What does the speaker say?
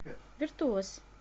виртуоз